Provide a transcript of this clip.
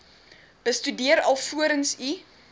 bestudeer alvorens u